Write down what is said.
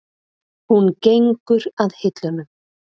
Hún gengur að hillunum.